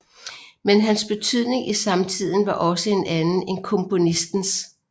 Men hans betydning i samtiden var også en anden end komponistens